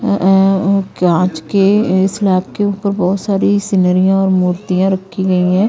अ-ए कांच के-ए स्लैब के ऊपर बहुत सारी सिनरियां और मूर्तियां रखी गई हैं ।